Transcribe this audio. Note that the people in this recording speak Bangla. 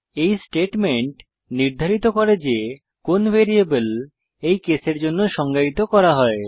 এই স্টেটমেন্ট নির্ধারিত করে যে কোন ভ্যারিয়েবল এই কেসের জন্য সংজ্ঞায়িত করা হয়